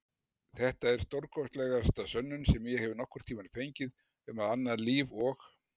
Þetta er stórkostlegasta sönnun sem ég hef nokkurn tímann fengið um annað líf og